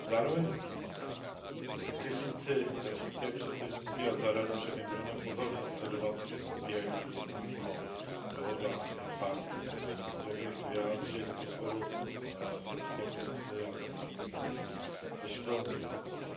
Zároveň chci říci za české předsednictví a za Radu, že my budeme pozorně sledovat probíhající jednání o dohodách EPA, a chtěl bych vyjádřit podporu Evropské komisi a paní komisařce Ashton